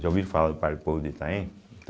Já ouviram falar do Parque do Povo de Itaim?